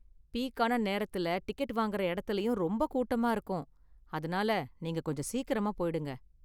பீக்கான நேரத்துல டிக்கெட் வாங்குற இடத்துலயும் ரொம்ப கூட்டமா இருக்கும், அதனால நீங்க கொஞ்சம் சீக்கிரமா போயிடுங்க.